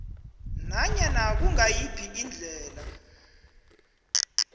nanyana kungayiphi indlela